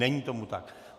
Není tomu tak.